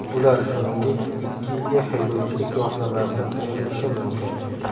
Ular, shuningdek, ikki yilga haydovchilik guvohnomasidan ayrilishi mumkin.